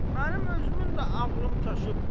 Mənim özümün də ağlım çaşıb.